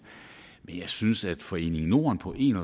men jeg synes at foreningen norden på en